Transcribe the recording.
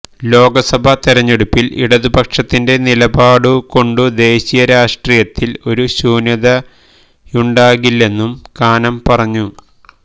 ലോക്സഭാ തിരഞ്ഞെടുപ്പില് ഇടതുപക്ഷത്തിന്റെ നിലപാടുകൊണ്ടു ദേശീയരാഷ്ട്രീയത്തില് ഒരു ശൂന്യതയുണ്ടാകില്ലെന്നും കാനം പറഞ്ഞു